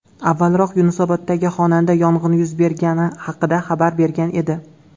Avvalroq Yunusoboddagi xonadonda yong‘in yuz bergani xabar berilgan edi .